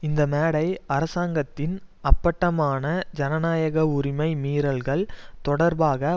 இந்த மேடை அரசாங்கத்தின் அப்பட்டமான ஜனநாயக உரிமை மீறல்கள் தொடர்பாக